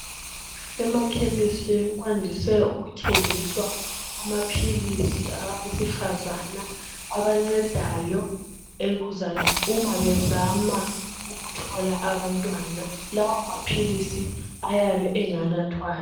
Emakhemesi kwandise ukuthengiswa amaphilisi abesifazana abancedayo uma bezama ukuthola abantwana. Lawo maphilisi ayabe enganathwayo.